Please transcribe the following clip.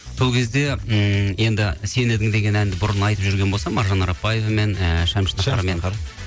сол кезде ммм енді сен едің деген әнді бұрын айтып жүрген болсам маржан арапбаевамен ыыы шәмші